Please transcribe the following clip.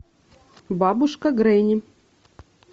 бабушка гренни